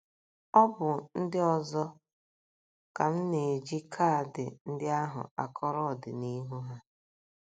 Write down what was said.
Ọ bụ ndị ọzọ ka m na - eji kaadị ndị ahụ akọrọ ọdịnihu ha.